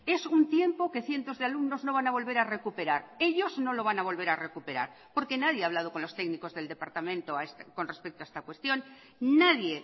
es un tiempo que cientos de alumnos no van a volver a recuperar ellos no lo van a volver a recuperar porque nadie ha hablado con los técnicos del departamento con respecto a esta cuestión nadie